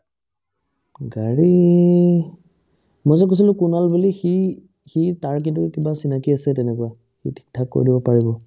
গাড়ী মই যে কৈছিলো কুনাল বুলি সি সি তাৰ কিন্তু কিবা চিনাকি আছে তেনেকুৱা সি থিক-থাক কৰি দিব পাৰিব